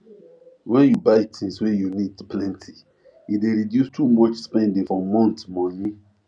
when you buy things wey you need plenty e dey reduce too much spending for month monye